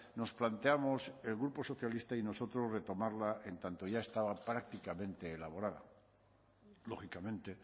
nos planteamos el grupo socialista y nosotros retomarla en tanto ya estaba prácticamente elaborada lógicamente